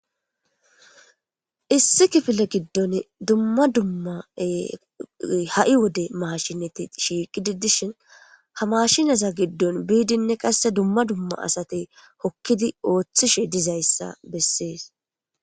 issi kifile giddon dumma dumma ha7i wode mashineti shiiqidi dishin ha mashinaza giddon biidinne qasse dumma dumma asate hokkidi ooththishe dizayssa bessees